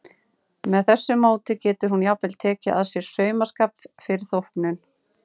Með þessu móti getur hún jafnvel tekið að sér saumaskap fyrir þóknun.